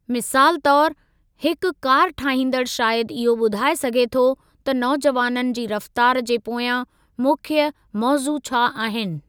मिसालु तौर, हिकु कार ठाहींदड़ शायदि इहो ॿुधाए सघे थो त नौजवाननि जी रफ़्तार जे पोयां मुख्य मौज़ू छा आहिनि।